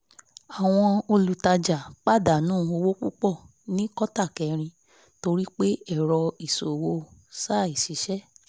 àwọn olùtajà pàdánù owó púpọ̀ ní kótà kẹrin torí pé ẹ̀rọ ìṣòwò ṣàìṣiṣẹ́